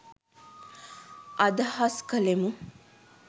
අදහස් කළෙමු.